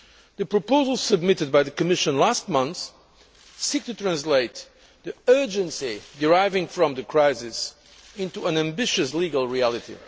The proposals submitted by the Commission last month seek to translate the urgency deriving from the crisis into an ambitious legal reality.